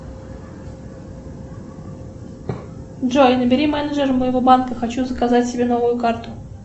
джой набери менеджера моего банка хочу заказать себе новую карту